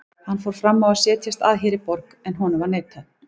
Hann fór fram á að setjast að hér í borg, en honum var neitað.